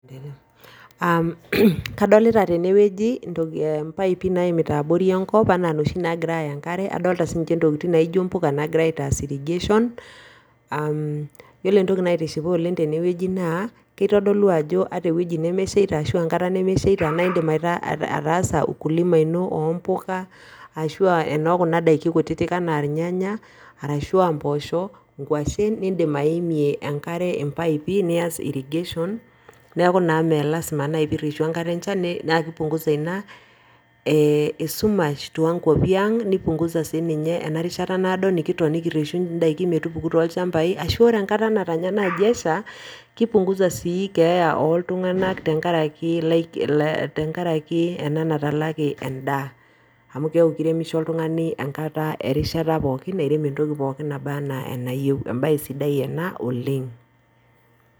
Adolita tena wueji impaipi naimita abori enkop enaa noshi naagira aaya enkare adolita siininche impuka naagirai aataas irrigation yiolo entoki naitishipa tene wueji naa kitodolu atu ata ewueji nemeshaita naa indiim ataasa ukulima oombuka ashua enookuna daiki kutitik enaa irnyanya ashua impooshok, inkuashen ashua indiim aimie enkare impaipi nias irrigation neeku naaji meelazima peireshu enkare enchan naa keipunguza ina e eshumash toonkuapi ang neipunguza sii ninye toonkuapi ang ena rishata naado nikireshu indaikin metupuku tolchambai ashua ore enkata natanya naaji esha naa keipunguza sii keeya ooltung'anak tenkaraki ena natalaki endaaa neeku keiremisho oltung'ani enkata pookin enabanaa enayieu embae sidai ena oleng.